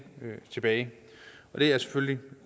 tilbage og det er selvfølgelig